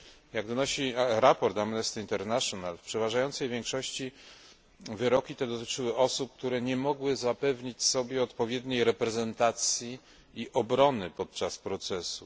Jak donosi sprawozdanie Amnesty International, w przeważającej większości wyroki te dotyczyły osób, które nie mogły zapewnić sobie odpowiedniej reprezentacji i obrony podczas procesów.